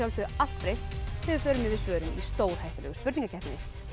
allt breyst þegar við förum yfir svörin í stórhættulegu spurningakeppninni